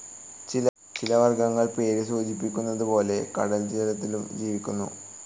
ചില വർഗ്ഗങ്ങൾ പേര് സൂചിപ്പിക്കുന്നതുപോലെ കടൽ ജലത്തിലും ജീവിക്കുന്നു.